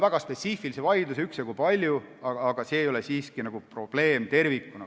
Jah, spetsiifilisi vaidlusi on üksjagu palju, aga see ei ole siiski tervikuna probleem.